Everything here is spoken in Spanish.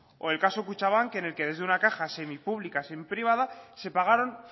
o el caso kutxabank en el que desde una caja semi pública semi privada se pagaron